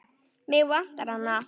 Mig vantar hana.